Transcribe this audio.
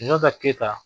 Sunjata keyita